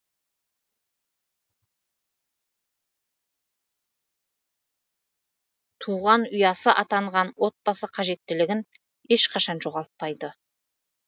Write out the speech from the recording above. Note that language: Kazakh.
туған ұясы атанған отбасы қажеттілігін ешқашан жоғалтпайды